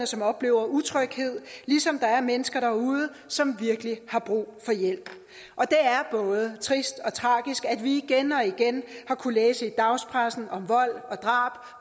som oplever utryghed ligesom der er mennesker derude som virkelig har brug for hjælp og det er både trist og tragisk at vi igen og igen har kunnet læse i dagspressen om vold